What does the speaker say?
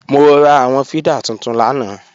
Mo ra àwọn fídà tuntun lánàá